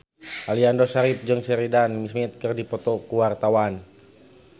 Aliando Syarif jeung Sheridan Smith keur dipoto ku wartawan